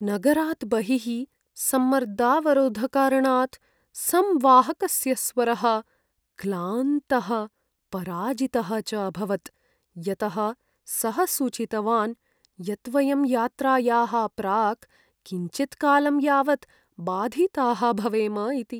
नगरात् बहिः सम्मर्दावरोधकारणात् संवाहकस्य स्वरः क्लान्तः पराजितः च अभवत् यतः सः सूचितवान् यत् वयं यात्रायाः प्राक् किञ्चित्कालं यावत् बाधिताः भवेम इति।